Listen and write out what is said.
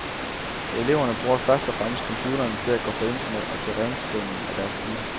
Eleverne bruger først og fremmest computerne til at gå på internet og til renskrivning af deres stile.